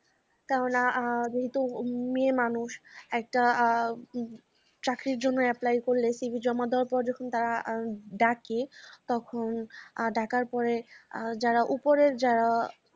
কেননা এ যেহেতু মেয়ে মানুষ একটা আ একটা চাকরির জন্যে apply করলে cv জমা দেয়ার পর যখন তারা আ ডাকে তখন আ ডাকার পরে আর যারা উপরের যারা